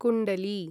कुण्डली